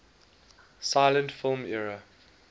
silent film era